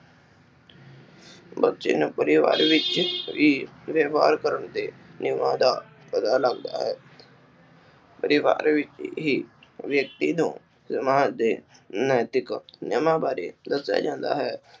ਬੱਚੇ ਨੂੰ ਪਰਿਵਾਰ ਵਿਚ ਹੀ ਵਿਵਹਾਰ ਕਰਨ ਤੇ ਨਿਜਮਾਂ ਦਾ ਪਤਾ ਲੱਗਦਾ ਹੈ ਪਰਿਵਾਰ ਵਿਚ ਹੀ ਵਿਅਕਤੀ ਨੂੰ ਸਮਾਜ ਦੇ ਨੈਤਿਕ ਨਿਜਮਾ ਬਾਰੇ ਦਸਿਆ ਜਾਂਦਾ ਹੈ।